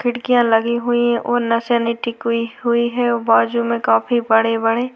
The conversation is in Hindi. खिड़किया लगी हुई है और निसेनी टीकी हुई है और बाजु में काफी बड़े बड़े --